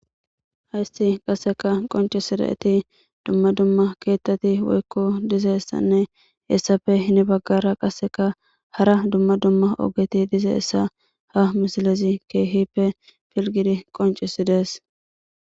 haysi qaseka qoncisidayti dumma dumma keettati woykko dizeessanne essafe hini baggara qaseka hara dumma dumma ogeti dizeessa ha misilezi keehippe pilgidi qoncisidees